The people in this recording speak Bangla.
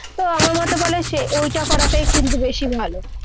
তো আমার মাথা বলে যে, ঐটা করাটাই কিন্তু বেশি ভালো।